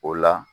O la